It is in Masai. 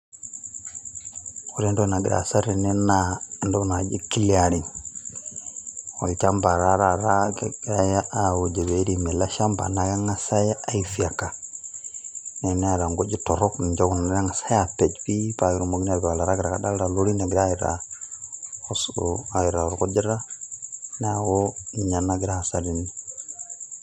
ore entoki nagira aasa tene naa entoki naji clearing. olchampa taa taata, kegirae aajo pee eiremi ele shampa, naa kengas ae fyeka naa teneeta nkujit torok, niche kuna nagasi aapej pii, paa ketumokini aatipik oltarakita, kadoolta lorin egira ataa aitaa orkujita, neeku ninye nagira aasa tene.